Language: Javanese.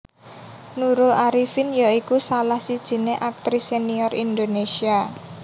Nurul Arifin ya iku salah sijiné aktris senior Indonésia